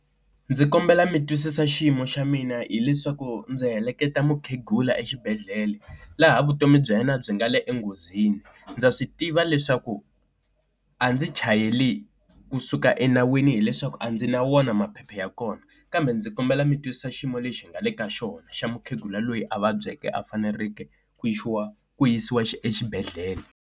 Ndzi kombela mi twisisa xiyimo xa mina hileswaku ndzi heleketa mukhegula exibedhlele laha vutomi bya yena byi nga le enghozini. Ndza swi tiva leswaku a ndzi chayeli kusuka enawini hileswaku a ndzi na wona maphepha ya kona, kambe ndzi kombela mi twisisa xiyimo lexi hi nga le ka xona xa mukhegula loyi a vabyeke a faneleke ku yisiwa xa exibedhlele.